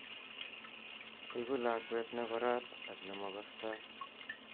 Eku lakwet ne korat ak nemakostoi.